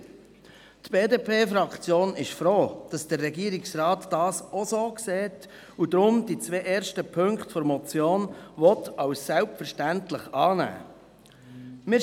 Die BDP-Fraktion ist froh, dass der Regierungsrat dies auch so sieht und deshalb die beiden ersten Punkte der Motion als selbstverständlich annehmen will.